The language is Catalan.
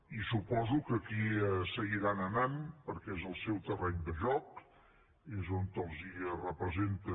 i suposo que hi seguiran anant perquè és el seu terreny de joc és on els representa